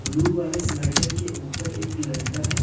Blue वाले slider के ऊपर एक लड़का है।